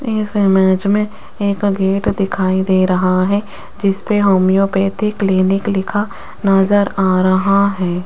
इस इमेज में एक गेट दिखाई दे रहा है जिस पे होम्योपैथिक क्लिनिक लिखा नजर आ रहा है।